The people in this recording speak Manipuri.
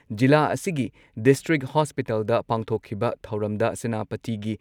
ꯖꯤꯂꯥ ꯑꯁꯤꯒꯤ ꯗꯤꯁꯇ꯭ꯔꯤꯛ ꯍꯣꯁꯄꯤꯇꯥꯜꯗ ꯄꯥꯡꯊꯣꯛꯈꯤꯕ ꯊꯧꯔꯝꯗ ꯁꯦꯅꯥꯄꯇꯤꯒꯤ